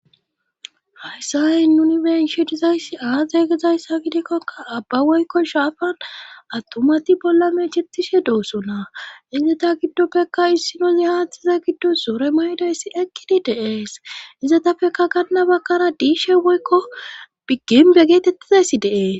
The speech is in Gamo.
hayssan nuni be7ishe dizayssi aaze gizayyssa gidikoka abba woykko shaafan attumati bolla meecettishe doosona;eeta giddopekka issinozi haaththaza giddon sure maayidayssi eqqidi de7ees;izatappekka ganna baggara diishe woykko gimbbe geetettizayssi de7ees.